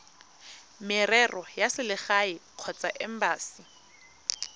merero ya selegae kgotsa embasi